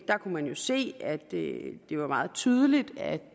der kunne man jo se at det var meget tydeligt at